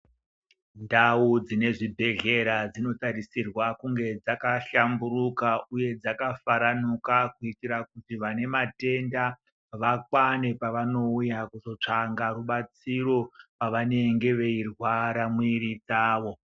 Ndau dzine zvibhedhlera dzinotarisirwa kunge dzakahlamburuka uye dzakafaranuka kuitira kuti vane matenda vakwane pavanouya kuzotsvaga rubatsiro pavanenge veirwara mwiri dzavo .